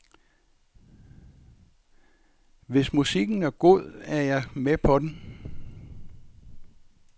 Hvis musikken er god, er jeg med på den.